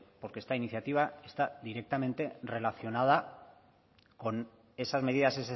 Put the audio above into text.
porque esta iniciativa está directamente relacionada con esas medidas